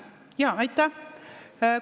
Jaa, aitäh!